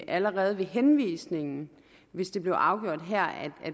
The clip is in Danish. allerede ved henvisningen hvis det blev afgjort her at